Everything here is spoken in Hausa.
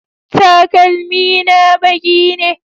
Takalmi na baƙi ne